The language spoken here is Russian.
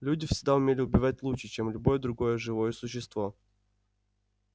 люди всегда умели убивать лучше чем любое другое живое существо